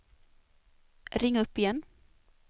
ring upp igen